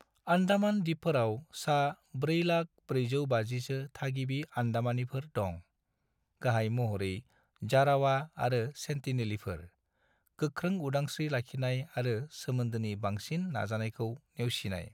आन्डामान दिपफोराव सा-400450 सो थागिबि आन्डामानीफोर दं, गाहाय महरै जारावा आरो सेन्टिनेलिफोर, गोख्रों उदांस्रि लाखिनाय आरो सोमोन्दोनि बांसिन नाजानायखौ नेवसिनाय।